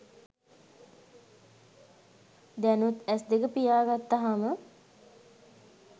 දැනුත් ඇස් දෙක පියා ගත්තහම